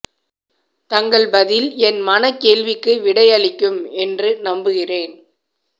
தங்கள் பதில் ஏன் மன கேள்விக்கு விடை அளிக்கும் என்று நம்புகிறேன்